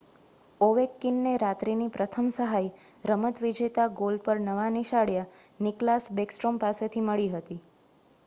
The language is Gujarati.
ઓવેકકીનને રાત્રિની પ્રથમ સહાય રમત-વિજેતા ગોલ પર નવા નિશાળિયા નિક્લાસ બેકસ્ટ્રોમ પાસેથી મળી હતી